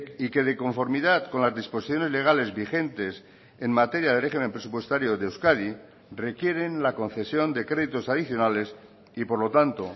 y que de conformidad con las disposiciones legales vigentes en materia de régimen presupuestario de euskadi requieren la concesión de créditos adicionales y por lo tanto